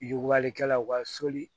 Yugubalikɛlaw ka soli